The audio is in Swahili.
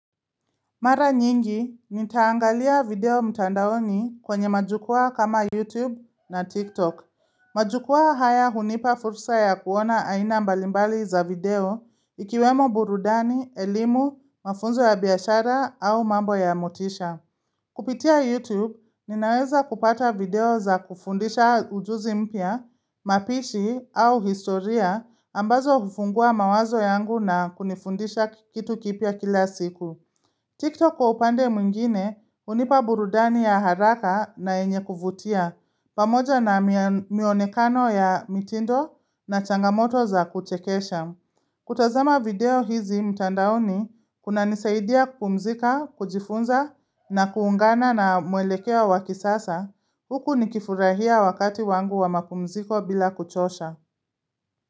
Mara nyingi, nitaangalia video mtandaoni kwenye majukwaa kama YouTube na TikTok. Majukwaa haya hunipa fursa ya kuona aina mbalimbali za video, ikiwemo burudani, elimu, mafunzo ya biashara au mambo ya motisha. Kupitia YouTube, ninaweza kupata video za kufundisha ujuzi mpya, mapishi au historia ambazo hufungua mawazo yangu na kunifundisha kitu kipya kila siku. TikTok kwa upande mwingine hunipa burudani ya haraka na yenye kuvutia pamoja na mionekano ya mitindo na changamoto za kuchekesha. Kutazama video hizi mtandaoni kunanisaidia kukupumzika, kujifunza na kuungana na mwelekeo wa kisasa huku nikifurahia wakati wangu wa mapumziko bila kuchosha.